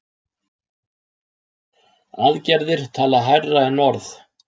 Aðgerðir tala hærra en orð.